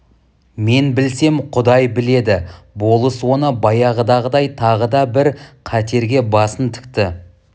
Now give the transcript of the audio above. мен білсем құдай біледі болыс оны баяғыдағыдай тағы да бір қатерге басын тікті